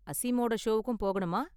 அசீமோட ஷோவுக்கும் போகணுமா?